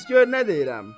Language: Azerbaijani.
Qulaq as gör nə deyirəm.